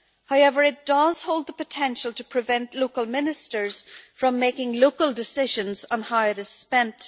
However, it does hold the potential to prevent local Ministers from making local decisions on how it is spent.